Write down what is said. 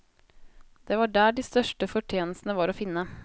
Det var der de største fortjenestene var å finne.